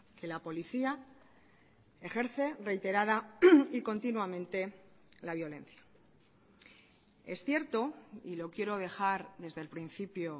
que la policía ejerce reiterada y continuamente la violencia es cierto y lo quiero dejar desde el principio